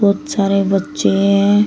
बहोत सारे लोग बच्चे हैं।